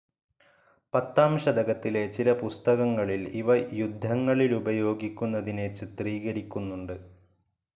പത്താം ശതകത്തിലെ ചില പുസ്തകങ്ങളിൽ ഇവ യുദ്ധങ്ങളിലുപയോഗിക്കുനതിനെ ചിത്രീകരിക്കുന്നുണ്ട്.